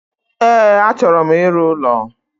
E, achọro m ịrụ ụlọ